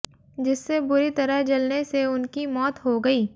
जिससे बुरी तरह जलने से उनकी मौत हो गई